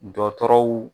Dɔtɔrɔw